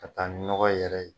Ka taa ni ɲɔgɔ yɛrɛ ye.